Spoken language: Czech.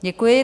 Děkuji.